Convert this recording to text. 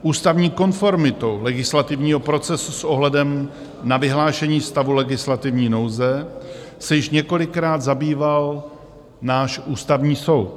Ústavní konformitou legislativního procesu s ohledem na vyhlášení stavu legislativní nouze se již několikrát zabýval náš Ústavní soud.